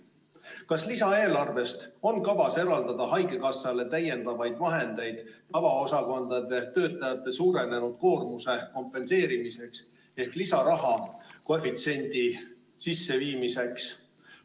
Kas lisaeelarvest on kavas eraldada haigekassale täiendavaid vahendeid tavaosakondade töötajate suurenenud koormuse kompenseerimiseks ehk lisaraha koefitsiendi sisseviimiseks?